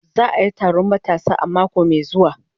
Za a yi taron matasa a mako mai zuwa